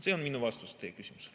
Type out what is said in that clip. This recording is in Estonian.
See on minu vastus teie küsimusele.